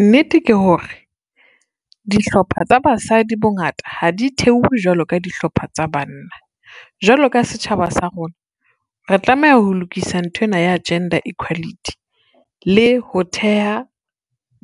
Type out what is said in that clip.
Nnete ke hore dihlopha tsa basadi bongata ha di theowe jwalo ka dihlopha tsa banna. Jwalo ka setjhaba sa rona re tlameha ho lokisa nthwena ya gender equality, le ho theha